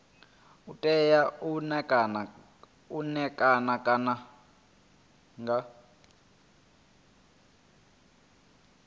u tea u ṋekana nga